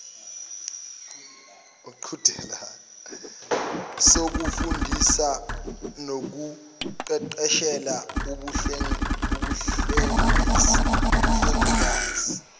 sokufundisa nokuqeqeshela ubuhlengikazi